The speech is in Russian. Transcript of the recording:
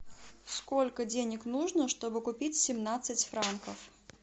сколько денег нужно чтобы купить семнадцать франков